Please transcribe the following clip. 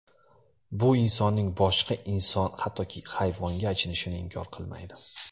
Bu insonning boshqa inson, hattoki hayvonga achinishini inkor qilmaydi.